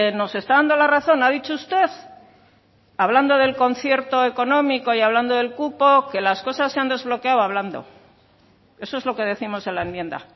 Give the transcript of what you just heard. nos está dando la razón ha dicho usted hablando del concierto económico y hablando del cupo que las cosas se han desbloqueado hablando eso es lo que décimos en la enmienda